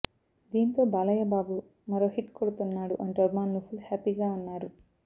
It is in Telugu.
దీంతో బాలయ్యబాబు మరో హిట్ కొడుతున్నాడు అంటూ అభిమానులు ఫుల్ హ్యాపీగా ఉన్నారు